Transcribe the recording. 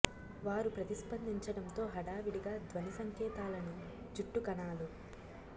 వారు ప్రతిస్పందించడంతో హడావిడిగా ధ్వని సంకేతాలను జుట్టు కణాలు